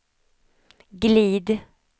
glid